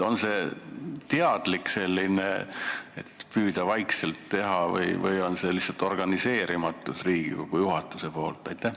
Kas see on teadlik valik, et püüda seda vaikselt teha, või tähendab see lihtsalt Riigikogu juhatuse organiseerimatust?